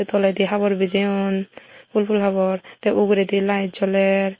toledi habor bijeyon pul pul habor te uguredi lite joler.